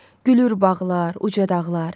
Gülür bağlar, uca dağlar.